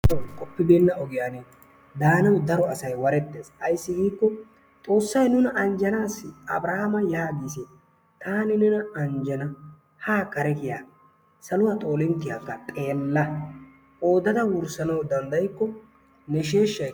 Qoppibeena ogiyan daanawu daro asay warettees. Ayssi giikko xoossay nuna anjjanaasi abirhama yaagiis taani nena anjjana haa kare kiya saluwa xoolinttiyakka xeella qoodada wurssanawu dandayikko ne sheshshay.